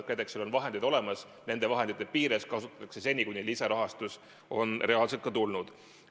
KredExil on vahendid olemas, nende vahendite piires tegutsetakse seni, kuni lisarahastus on reaalselt tulnud.